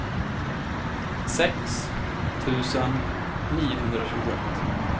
sex tusen niohundratjugoett